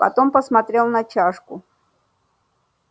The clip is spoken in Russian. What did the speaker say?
потом посмотрел на чашку